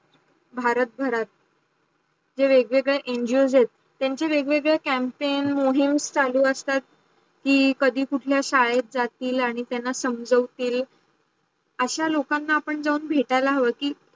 भारत भरात जे वेग वेगड्या ngos आहेत त्यांचे वेग वेगडे campaign मोहेम चालू असतात. की कधी कुठल्या षदेत जातील आणी त्याला समजावूतील अशा लोकांना आपण जाऊन भेटला हावं की